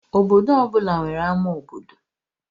Obodo ọ bụla nwere ámá obodo